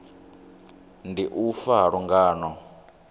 ndi u fa ha lungano